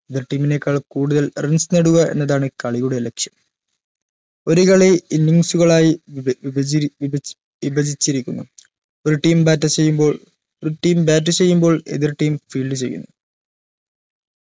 എതിർ team നെക്കാൾ കൂടുതൽ runs നേടുക എന്നതാണ് കളിയുടെ ലക്ഷ്യം ഒരു കളി innings ഉകളായി വിപചരി വിപജ് വിപജിച്ചിരിക്കുന്നു ഒരു team batter ചെയ്യുമ്പോൾ team നേടുമ്പോൾ എതിർ team feald ചെയ്യുന്നു